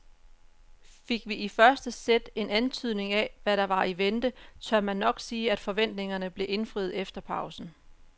Fik vi i første sæt en antydning af hvad der var i vente, tør man nok sige at forventningerne blev indfriet efter pausen.